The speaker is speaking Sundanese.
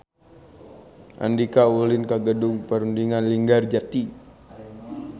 Andika ulin ka Gedung Perundingan Linggarjati